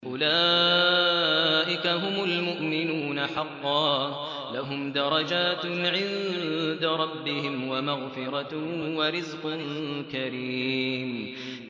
أُولَٰئِكَ هُمُ الْمُؤْمِنُونَ حَقًّا ۚ لَّهُمْ دَرَجَاتٌ عِندَ رَبِّهِمْ وَمَغْفِرَةٌ وَرِزْقٌ كَرِيمٌ